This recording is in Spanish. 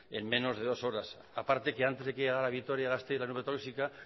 en menos de dos horas a parte que antes de que llegara a vitoria gasteiz la nube tóxica